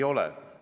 Ei ole!